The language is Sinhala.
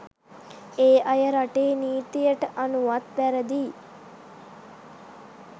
ඒ අය රටේ නීතියට අනුවත් වැරදියි.